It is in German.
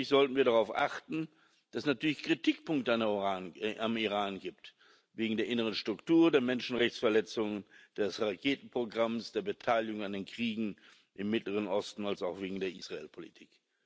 Gleichzeitig sollten wir darauf achten, dass es natürlich Kritikpunkte am Iran gibt wegen der inneren Struktur, der Menschenrechtsverletzungen, des Raketenprogramms, der Beteiligung an den Kriegen im Mittleren Osten und wegen der Israelpolitik.